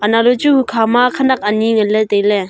anow le chu hukha ma khenek ani ngan le tailey.